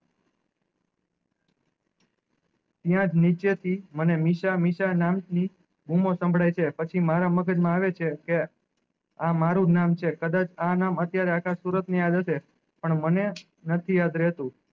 અયીયાજ નીચે થી મને મને મિશ્રા મિશ્રા નામ થી બુમો સમ્બ્દાયે છે પછી મારા મગજ માં આવે છે કે આ મારુજ નામ નામ છે કદાચ આ નામ અત્યારે આખા સુરત ની યાદ હશે પણ મને નથી યાદ રેહતું